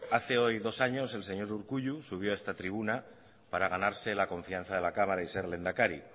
hace hoy dos años el señor urkullu subió a esta tribuna para ganarse la confianza de la cámara y ser lehendakari